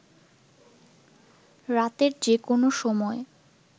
রাতের যে কোন সময়